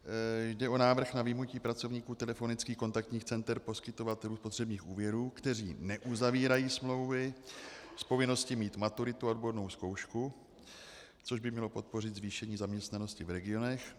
Jde o návrh na vyjmutí pracovníků telefonických kontaktních center poskytovatelů spotřebních úvěrů, kteří neuzavírají smlouvy, z povinnosti mít maturitu a odbornou zkoušku, což by mělo podpořit zvýšení zaměstnanosti v regionech.